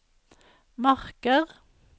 Marker